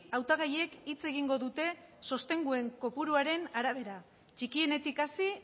hautagaiek hitz egingo dute sostenguen kopuruaren arabera txikienetik hasi